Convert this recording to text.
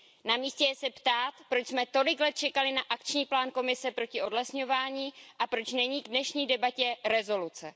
Na místě je se ptát, proč jsme tolik let čekali na akční plán Komise proti odlesňování a proč není k dnešní debatě rezoluce.